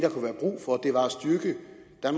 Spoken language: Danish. der